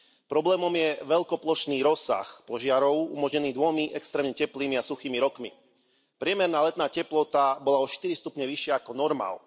Problémom je veľkoplošný rozsah požiarov umožnený dvomi extrémne teplými a suchými rokmi. Priemerná letná teplota bola o štyri stupne vyššia ako normál.